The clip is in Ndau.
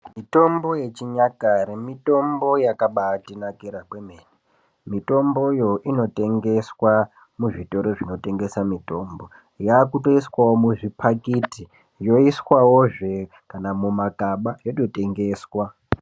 Mitombo yechinyakare mitombo yaka mbatinakire kwemene mitomboyo ,yaakutotengeswa muzvitoro zvinotengesa mitombo yava yaakutoiswawo mumapakiti yoiswa wozve kana mumagaba yototengeswa.